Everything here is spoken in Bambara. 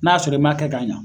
N'a y'a sɔrɔ i ma kɛ k'a ɲa